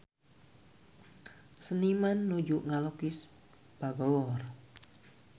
Seniman nuju ngalukis Bangor